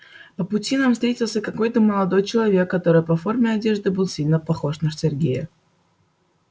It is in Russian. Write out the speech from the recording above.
по пути нам встретился какой-то молодой человек который по форме одежды был сильно похож на сергея